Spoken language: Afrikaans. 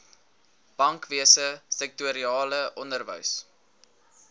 bankwese sektorale onderwys